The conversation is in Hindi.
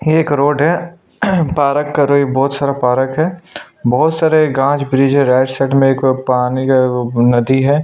ये एक रोड है पार्क करो बहुत सारा पार्क है बहुत सारे गज ब्रिज है पानी का नदी है।